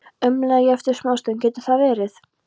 umlaði ég eftir smástund: Getur það verið?